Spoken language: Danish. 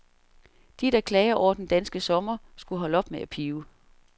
De, der klager over den danske sommer, skulle holde op med at pibe.